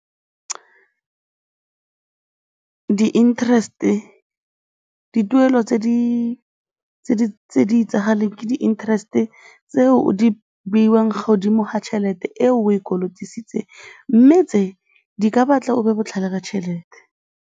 Di-nterest-e, dituelo tse di itsagaleng ke di-interest-e tseo di beiwang godimo ga tšhelete e o e kolotisitseng mme tse, di ka batla o be botlhale ka tšhelete.